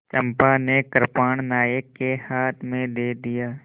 चंपा ने कृपाण नायक के हाथ में दे दिया